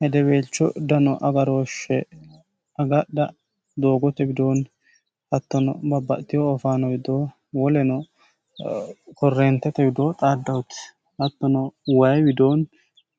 hedebeelcho dano agarooshshe agadha doogote widoonni hattono babbatiho ofaano widoo woleno korreentete widoo xaaddahoti hatteno wayi widooni